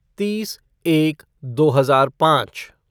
तीस एक दो हजार पाँच